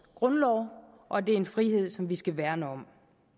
grundlov og det er en frihed som vi skal værne om